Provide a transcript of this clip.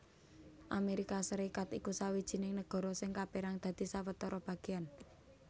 Amérika Sarékat iku sawijining nagara sing kapérang dadi sawetara bagéyan